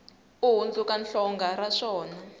u hundzuka hlonga ra swona